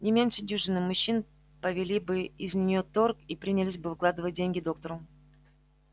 не меньше дюжины мужчин повели бы из-за неё торг и принялись бы выкладывать деньги доктору